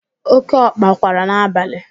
Oke ọkpa kwara n'abalị.